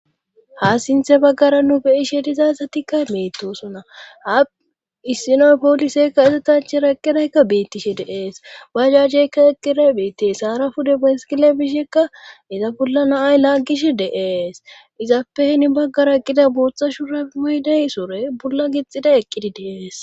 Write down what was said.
ha sinthe baggara nu beyishe dizasatikkay mettosuna ha issinoy pooliseykka ezetache raqqidaykka beittishe deees ba jajeykka eqqire biitti haara pude besikile bishekka iza bolla naay laaggish deees izappehni baggara qida booththa shura moyday sore bolla gixxida eqqidi dee'es